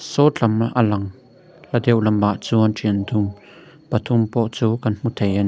saw tlam a lang hla deuh lamah chuan thian dun pathum pawh chu kan hmu thei a ni.